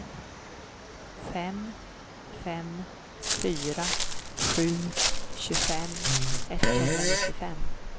fem fem fyra sju tjugofem etthundranittiofem